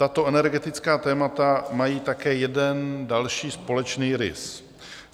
Tato energetická témata mají také jeden další společný rys.